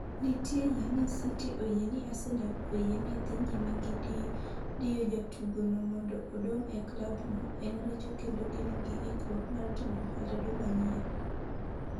Nitie yie ni City oyie ni Arsenal oyie ni dhi nyime gi diyo jatugo no mondo odong' e klab no en richo kendo gin gi ikruok mar timo ohala dwe manyien.